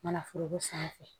Manaforoko sanfɛ